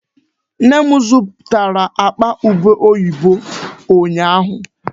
Nne m zụtara akpa ubé oyibo ụnyaahụ.